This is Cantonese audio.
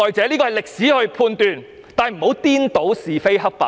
這由歷史去判斷，但不應顛倒是非黑白。